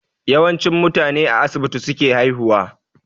Yawanci mutane a asibiti suke haihuwa